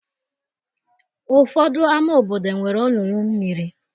Ụfọdụ ámá obodo nwere olulu mmiri.